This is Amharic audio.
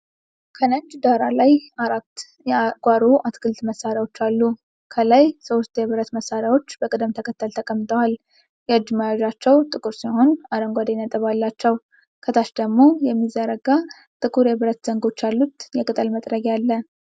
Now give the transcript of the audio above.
ከነጭ ዳራ ላይ አራት የጓሮ አትክልት መሣሪያዎች አሉ። ከላይ ሶስት የብረት መሣሪያዎች በቅደም ተከተል ተቀምጠዋል። የእጅ መያዣቸው ጥቁር ሲሆን አረንጓዴ ነጥብ አላቸው። ከታች ደግሞ የሚዘረጋ ጥቁር የብረት ዘንጎች ያሉት የቅጠል መጥረጊያ አለ።